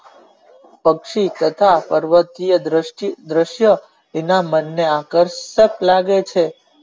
પક્ષી તથા પર્વતીય દ્રષ્ટિ દ્રસ્ય તેમના મન ના કારતક વાગે છે.